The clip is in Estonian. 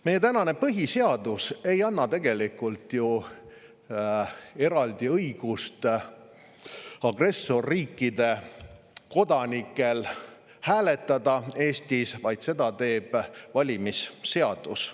Meie tänane põhiseadus ei anna tegelikult ju agressorriikide kodanikele eraldi õigust Eestis hääletada, vaid seda teeb valimisseadus.